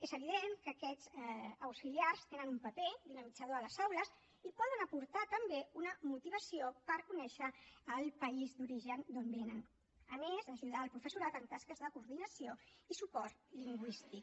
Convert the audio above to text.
és evident que aquests auxiliars tenen un paper dinamitzador a les aules i poden aportar també una motivació per conèixer el país d’origen d’on venen a més d’ajudar el professorat en tasques de coordinació i suport lingüístic